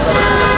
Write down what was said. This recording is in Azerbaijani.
Çpə yoxdur.